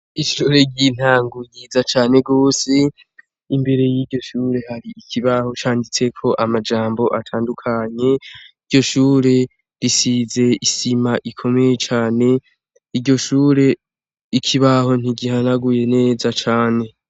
Ishure ry'intango ryiza cane rwose , imbere yiryo shure hari ikibaho canditseko amajambo atandukanye iryo shure risize isima ikomeye cane, iryo Shure ikibaho ntigihanaguye neza cane .